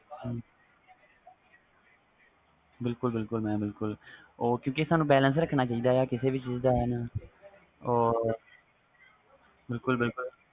ਬਿਲਕੁਲ ਬਿਲਕੁਲ mam ਉਹ ਕਿਉਕਿ ਸਾਨੂੰ balance ਰੱਖਣਾ ਚਾਹੀਦਾ ਵ ਕਿਸੇ ਵੀ ਚੀਜ਼ ਦਾ